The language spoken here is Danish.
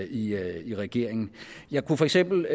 i i regeringen jeg kunne for eksempel